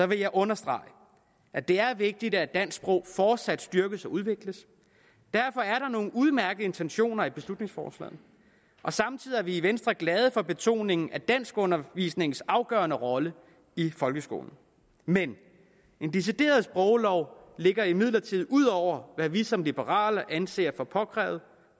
vil jeg understrege at det er vigtigt at dansk sprog fortsat styrkes og udvikles derfor er der nogle udmærkede intentioner i beslutningsforslaget samtidig er vi i venstre glade for betoningen af danskundervisningens afgørende rolle i folkeskolen men en decideret sproglov ligger imidlertid ud over hvad vi som liberale anser for påkrævet